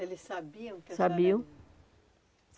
Eles sabiam que a senhora? Sabiam